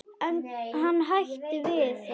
En hann hættir við það.